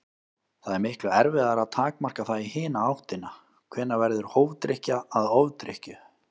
Það er miklu erfiðara að takmarka það í hina áttina: Hvenær verður hófdrykkja að ofdrykkju?